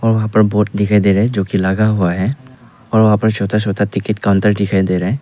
और वहां पर बोर्ड दिखाई दे रहा है जो की लगा हुआ है और वहां पर छोटा छोटा टिकट काउंटर दिखाई दे रहा है।